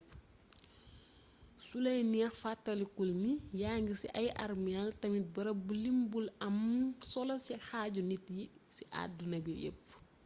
sulay neex fatalikul ni yangi ci ay arméel tamit bërëb bu limb u am solo ci xaaju nit yi ci adduna bi yepp